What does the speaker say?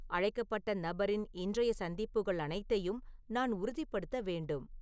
அழைக்கப்பட்ட நபரின் இன்றைய சந்திப்புகள் அனைத்தையும் நான் உறுதிப்படுத்த வேண்டும்